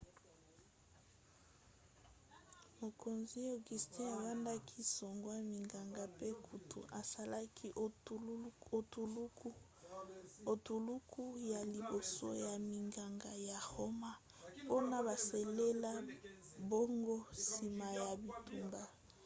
mokonzi auguste abandaki kozwa minganga mpe kutu asalaki etuluku ya liboso ya minganga ya roma mpona basalela bango nsima ya bitumba